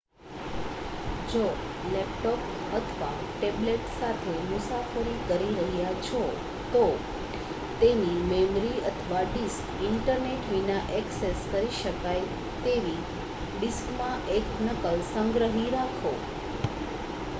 જો લેપટોપ અથવા ટેબ્લેટ સાથે મુસાફરી કરી રહ્યા છો તો તેની મેમરી અથવા ડિસ્ક ઇન્ટરનેટ વિના એક્સેસ કરી શકાય તેવી ડિસ્કમાં એક નકલ સંગ્રહી રાખો